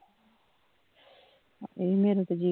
ਮੇਰਾ ਤੇਜੀ